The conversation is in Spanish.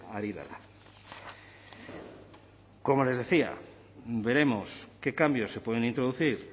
ari dela como les decía veremos qué cambios se pueden introducir